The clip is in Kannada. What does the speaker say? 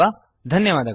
ಧನ್ಯವಾದಗಳು